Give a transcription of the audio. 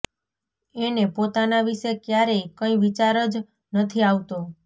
એને પોતાના વિશે ક્યારેય કંઈ વિચાર જ નથી આવતો